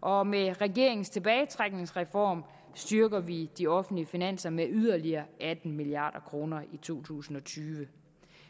og med regeringens tilbagetrækningsreform styrker vi de offentlige finanser med yderligere atten milliard kroner i to tusind og tyve